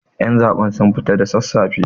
Ƴan zaben sun fita da sassafe